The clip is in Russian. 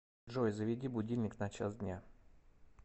джой заведи будильник на час дня